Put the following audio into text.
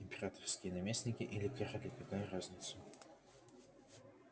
императорские наместники или короли какая разница